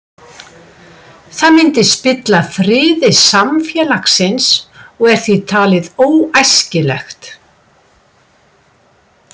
Það myndi spilla friði samfélagsins og er því talið óæskilegt.